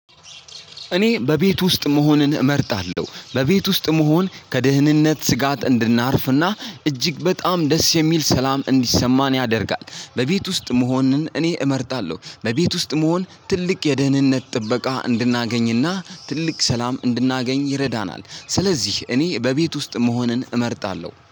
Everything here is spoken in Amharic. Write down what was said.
እኔ በቤት ውስጥ መሆንን እመርጣለሁ በቤት ውስጥ መሆን ከደህንነት ስጋት እንድናርፍና እጅግ በጣም ደስ የሚል ሰላም እንዲሰማን ያደርጋል። በቤት ውስጥ መሆንን እኔ እመርጣለሁ በቤት ውስጥ መሆን ትልቅ የደህንነት ጥበቃ እንድናገኝ እና ትልቅ ሰላም እንድናገኝ ይረዳናል። ስለዚህ እኔ በቤት ውስጥ መሆንን እመርጣለሁ